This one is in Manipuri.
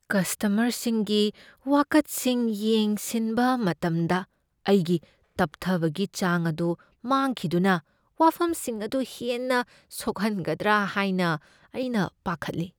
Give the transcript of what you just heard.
ꯀꯁꯇꯃꯔꯁꯤꯡꯒꯤ ꯋꯥꯀꯠꯁꯤꯡ ꯌꯦꯡꯁꯤꯟꯕ ꯃꯇꯝꯗ ꯑꯩꯒꯤ ꯇꯞꯊꯕꯒꯤ ꯆꯥꯡ ꯑꯗꯨ ꯃꯥꯡꯈꯤꯗꯨꯅ ꯋꯥꯐꯝꯁꯤꯡ ꯑꯗꯨ ꯍꯦꯟꯅ ꯁꯣꯛꯍꯟꯒꯗ꯭ꯔꯥ ꯍꯥꯏꯅ ꯑꯩꯅ ꯄꯥꯈꯠꯂꯤ ꯫